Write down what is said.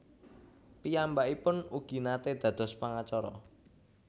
Piyambakipun ugi naté dados pangacara